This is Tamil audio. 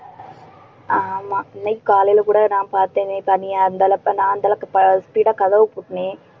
ஆமா இன்னைக்கு காலையில கூட நான் பார்த்தேனே தனியா அந்தளவுக்கு நான் அந்த அளவுக்கு ஆஹ் speed ஆ கதவு பூட்டினேன்